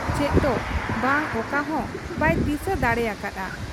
ᱪᱮᱫ ᱫᱚ ᱵᱟᱝ ᱚᱠᱟᱦᱚᱸ ᱵᱟᱭ ᱫᱤᱥᱟᱹ ᱫᱟᱲᱮ ᱟᱠᱟ ᱦᱟᱫ ᱟ ᱾